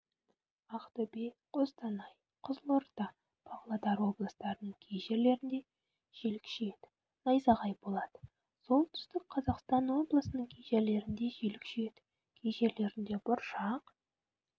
ақтөбе қостанай қызылорда павлодар облыстарының кей жерлерінде жел күшейеді найзағай болады солтүстік қазақстан облысының кей жерлерінде жел күшейеді кей жерлерінде бұршақ